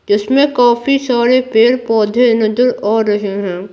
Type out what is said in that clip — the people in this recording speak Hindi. जिसमें काफी सारे पेड़-पौधे नजर आ रहे हैं।